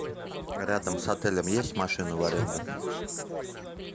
рядом с отелем есть машины в аренду